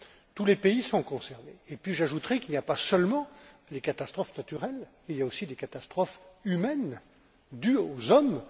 Tous les pays sont concernés, et j'ajouterai qu'il n'y a pas seulement les catastrophes naturelles, il y a aussi des catastrophes humaines, dues aux hommes.